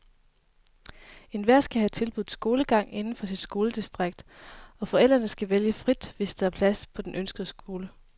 Enhver skal have tilbudt skolegang inden for sit skoledistrikt, og forældre kan vælge frit, hvis der er plads på den ønskede skole.